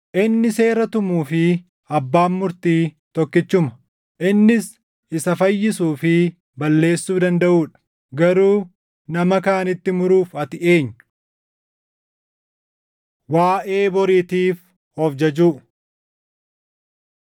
Inni seera tumuu fi Abbaan Murtii tokkichuma; innis isa fayyisuu fi balleessuu dandaʼuu dha. Garuu nama kaanitti muruuf ati eenyu? Waaʼee Boriitiif of jajuu